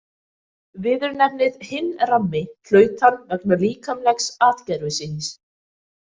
Viðurnefnið „hinn rammi“ hlaut hann vegna líkamlegs atgervis síns.